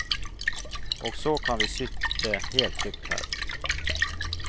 Og så kan vi sitte helt trygt her.